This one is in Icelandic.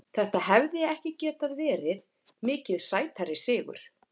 Þetta hefði ekki getað verið mikið sætari sigur.